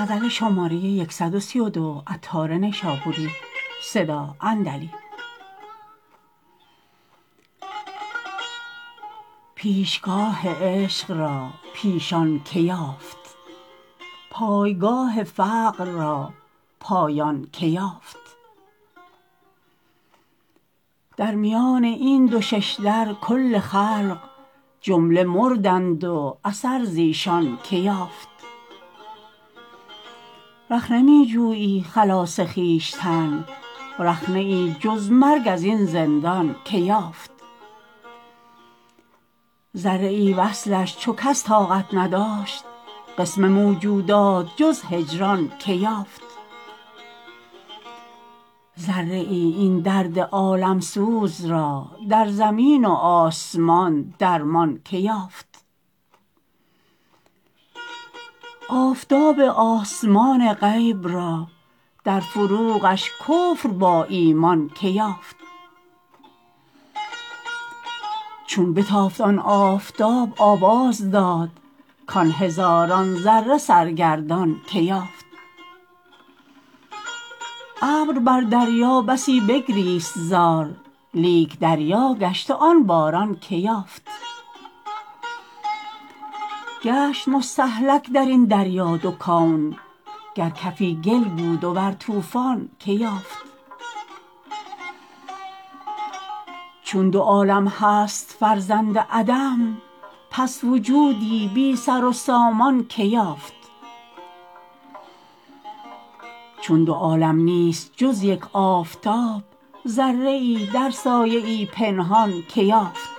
پیشگاه عشق را پیشان که یافت پایگاه فقر را پایان که یافت در میان این دو ششدر کل خلق جمله مردند و اثر زیشان که یافت رخنه می جویی خلاص خویشتن رخنه ای جز مرگ ازین زندان که یافت ذره ای وصلش چو کس طاقت نداشت قسم موجودات جز هجران که یافت ذره ای این درد عالم سوز را در زمین و آسمان درمان که یافت آفتاب آسمان غیب را در فروغش کفر با ایمان که یافت چون بتافت آن آفتاب آواز داد کان هزاران ذره سرگردان که یافت ابر بر دریا بسی بگریست زار لیک دریا گشت و آن باران که یافت گشت مستهلک درین دریا دو کون گر کفی گل بود و ور طوفان که یافت چون دو عالم هست فرزند عدم پس وجودی بی سر و سامان که یافت چون دو عالم نیست جز یک آفتاب ذره ای در سایه ای پنهان که یافت